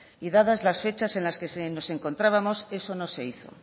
y dadas las fechas en las que nos encontrábamos eso no se hizo